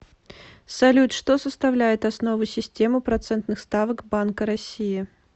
салют что составляет основу системы процентных ставок банка россии